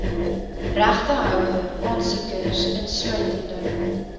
regtehouer aansoekers insluitende